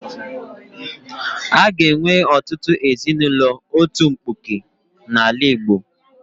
A ga-enwe ọtụtụ ezinaụlọ otu mkpuke n'ala Igbo.